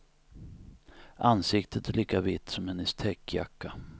Ansiktet är lika vitt som hennes täckjacka.